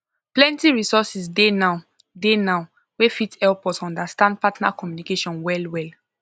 plenty resources dey now dey now wey fit help us understand partner communication well well